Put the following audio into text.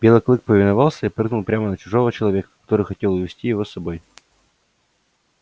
белый клык повиновался и прыгнул прямо на чужого человека который хотел увести его с собой